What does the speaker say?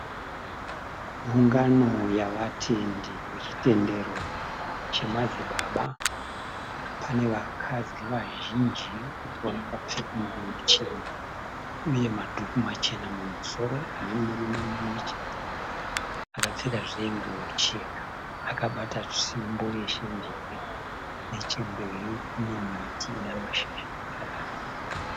Ungano yavatendi vechitendero chamadzibaba. Pane vakadzi vazhinji vakapfeka nguwo chena uye madhuku machena mumusoro nemurume mumwechete akapfekazve nguwo chena akabata tsvimbo yeshenjere. Nechemberi kune miti ine mashizha